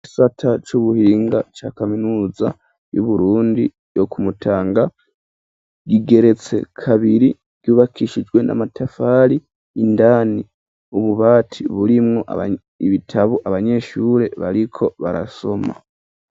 Igisata c'ubuhinga ca kaminuza y'uburundi tyo kumutanga gigeretse kabiri ryubakishijwe n'amatafari indani ububati burimwo ibitabu abanyeshure bariko barasoma.